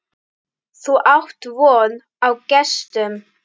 Þú átt von á gestum.